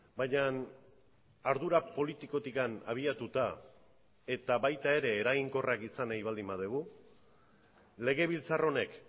baina ardura politikotik abiatuta eta baita ere eraginkorrak izan nahi baldin badugu legebiltzar honek